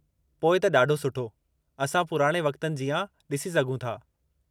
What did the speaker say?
पोइ त ॾाढो सुठो। असां पुराणे वक़्तनि जीआं डि॒सी सघूं था।